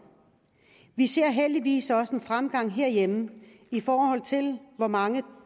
vi ser heldigvis også en fremgang herhjemme i forhold til hvor mange